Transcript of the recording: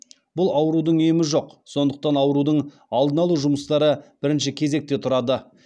бұл аурудың емі жоқ сондықтан аурудың алдын алу жұмыстары бірінші кезекте тұрады